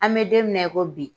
An bɛ don min na i ko bi.